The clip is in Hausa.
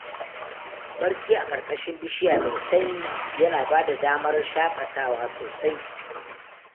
Barci a ƙarƙashin bishiya mai sanyi yana bada damar shaƙatawa sosai.